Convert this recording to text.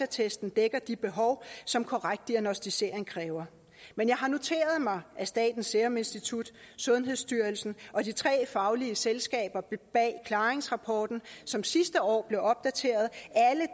testen dækker de behov som korrekt diagnosticering kræver men jeg har noteret mig at statens serum institut sundhedsstyrelsen og de tre faglige selskaber bag klaringsrapporten som sidste år blev opdateret